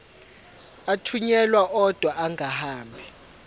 athunyelwa odwa angahambi